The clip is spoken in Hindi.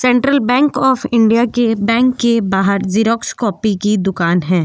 सेंट्रल बैंक ऑफ़ इंडिया के बैंक के बाहर ज़ीरॉक्स कॉपी की दूकान हैं।